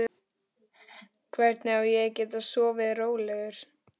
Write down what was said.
Hvernig á ég að geta sofið rólegur?